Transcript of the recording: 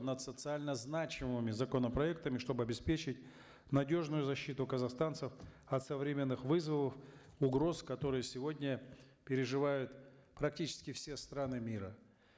над социально значимыми законопроектами чтобы обеспечить надежную защиту казахстанцев от современных вызовов угроз которые сегодня переживают практически все страны мира